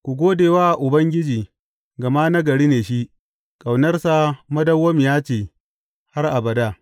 Ku gode wa Ubangiji, gama nagari ne shi; ƙaunarsa madawwamiya ce har abada.